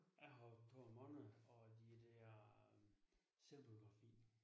Ja har to måneder og de der selvbiografi